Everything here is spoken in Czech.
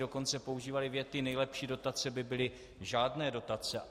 Dokonce používali věty: Nejlepší dotace by byly žádné dotace.